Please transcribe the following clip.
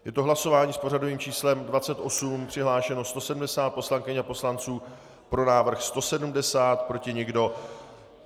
Je to hlasování s pořadovým číslem 28, přihlášeno 170 poslankyň a poslanců, pro návrh 170, proti nikdo.